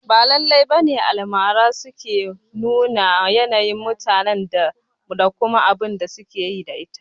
Ba lallai bane Almara suke numa yanayin mutane da kuma abunda suka yi aƙida da ita